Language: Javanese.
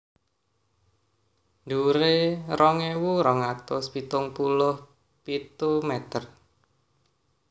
Dhuwuré rong ewu rong atus pitung puluh pitu mèter